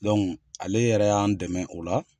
Dɔnku ale yɛrɛ y'an dɛmɛ o la